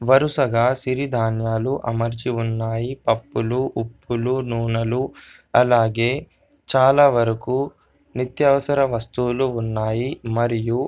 వరుసగా సిరి ధాన్యాలు అమర్చి ఉన్నాయి. పప్పులు ఉప్పులు నూనెలు అలాగే చాలా వరకు నిత్యవసర వస్తువులు ఉన్నాయి మరియు--